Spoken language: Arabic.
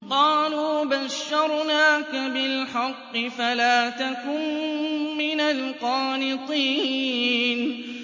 قَالُوا بَشَّرْنَاكَ بِالْحَقِّ فَلَا تَكُن مِّنَ الْقَانِطِينَ